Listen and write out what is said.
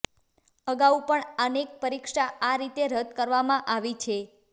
અગાઉ પણ અનેક પરીક્ષા આ રીતે રદ કરવામાં આવી છે